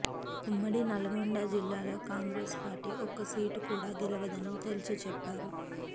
ఉమ్మడి నల్గొండ జిల్లాలో కాంగ్రెస్ పార్టీ ఒక్క సీటు కూడా గెలవదని తేల్చిచెప్పారు